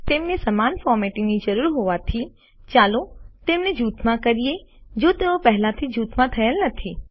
તેમને સમાન ફોર્મેટિંગની જરૂર હોવાથી ચાલો તેમને જુથમાં કરીએ જો તેઓ પહેલાથી જ જૂથમાં થયેલ નથી